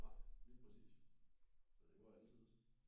Nej lige præcis så det var alle tiders